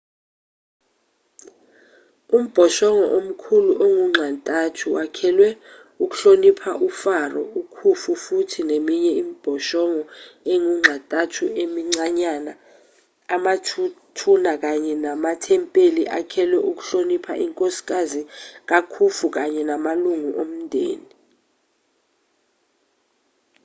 umbhoshongo omkhulu ongunxa-ntathu wakhelwe ukuhlonipha ufaro ukhufu futhi neminye imibhoshongo engunxa-ntathu emincanyana amathuna kanye namathempeli akhelwe ukuhlonipha inkosikazi kakhufu kanye namalungu omndeni